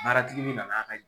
min nana